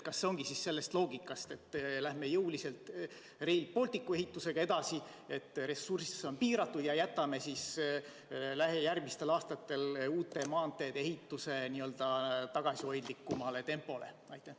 Kas loogika ongi selline, et lähme jõuliselt Rail Balticu ehitusega edasi, ressurss on piiratud ja jätkame siis järgmistel aastatel uute maanteede ehitust tagasihoidlikumas tempos?